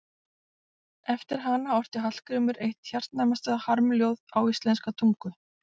Eftir hana orti Hallgrímur eitt hjartnæmast harmljóð á íslenska tungu.